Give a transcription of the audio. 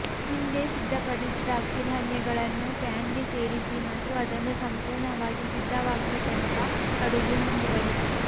ಹಿಂದೆ ಸಿದ್ಧಪಡಿಸಿದ ಅಕ್ಕಿ ಧಾನ್ಯಗಳನ್ನು ಪ್ಯಾನ್ಗೆ ಸೇರಿಸಿ ಮತ್ತು ಅದನ್ನು ಸಂಪೂರ್ಣವಾಗಿ ಸಿದ್ಧವಾಗುವ ತನಕ ಅಡುಗೆ ಮುಂದುವರಿಸಿ